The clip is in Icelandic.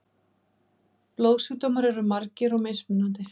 Blóðsjúkdómar eru margir og mismunandi.